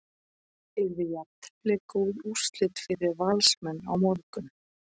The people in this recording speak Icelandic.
Yrði jafntefli góð úrslit fyrir Valsmenn á morgun?